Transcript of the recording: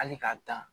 Hali k'a dan